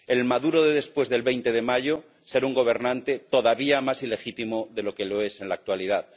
El Maduro de después del 20 de mayo será un gobernante todavía más ilegítimo de lo que lo es en la actualidad.